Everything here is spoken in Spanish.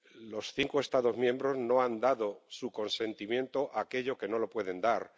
Los cinco Estados miembros no han dado su consentimiento a aquello a lo que no se lo pueden dar.